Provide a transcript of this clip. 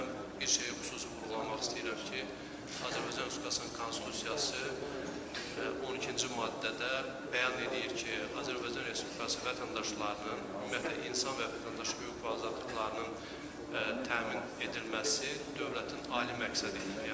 Mən bir şeyi xüsusi vurğulamaq istəyirəm ki, Azərbaycan Respublikasının Konstitusiyası 12-ci maddədə bəyan eləyir ki, Azərbaycan Respublikası vətəndaşlarının, ümumiyyətlə insan və vətəndaş hüquq və azadlıqlarının təmin edilməsi dövlətin ali məqsədidir.